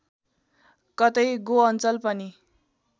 कतै गोअञ्चल पनि